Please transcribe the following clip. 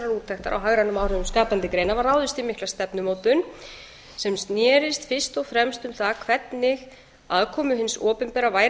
úttektar á hagrænum áhrifum skapandi greina var ráðist í mikla stefnumótun sem snerist fyrst og fremst um það hvernig aðkomu hins opinbera væri